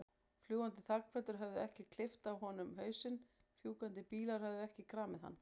Fljúgandi þakplötur höfðu ekki klippt af honum hausinn, fjúkandi bílar höfðu ekki kramið hann.